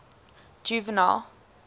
juvenal